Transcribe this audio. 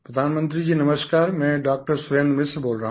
प्रधानमंत्री जी नमस्कार मैं डॉ सुरेन्द्र मिश्र बोल रहा हूँ